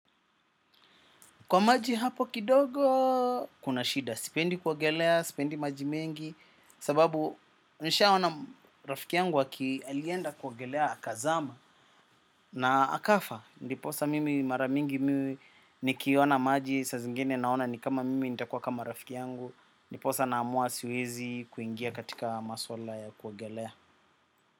Kwa maji hapo kidogo kuna shida, sipendi kuogelea, sipendi maji mengi, sababu nishaona rafiki yangu aki alienda kuogelea akazama. Na akafa ndiposa mimi mara mingi mimi nikiona maji, saa zingine naona ni kama mimi nitakuwa kama rafiki yangu, ndiposa naamua siwezi kuingia katika maswala ya kuogelea.